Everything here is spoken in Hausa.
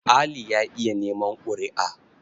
Ali ya iya neman ƙuri''a.